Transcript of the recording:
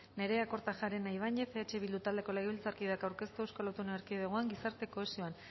nerea kortajarena ibañez eh bildu taldeko legebiltzarkideak aurkeztuta eusko autonomi erkidegoan gizarte kohesioan